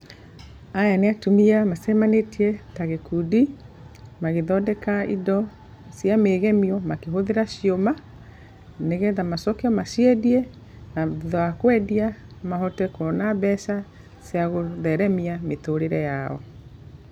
Aya nĩ atumia macemanĩtie ta gĩkundi magĩthondeka indo cia mĩgemio makĩhũthĩra ciũma nĩgetha macoke maciendie na thutha wa kwendia mahote kuona mbeca cia gũtheremia mĩtũrĩre yao.